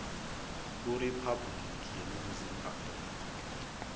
kuriphabhuliki yeningizimu afrika